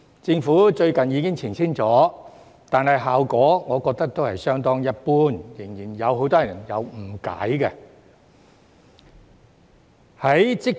政府最近已經澄清了，但我覺得效果都是相當一般，仍然有很多人誤解。